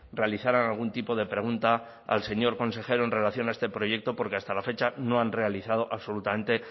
realizaran algún tipo de pregunta al señor consejero en relación a este proyecto porque hasta la fecha no han realizado absolutamente